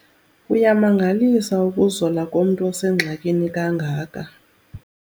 Kuyamangalisa ukuzola komntu osengxakini kangaka.